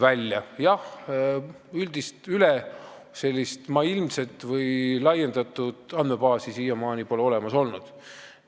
Sellist üldist, ülemaailmset või laiendatud andmebaasi pole siiamaani olemas olnud.